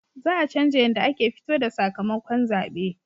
Za a canja yanda ake fito da sakamakon zabe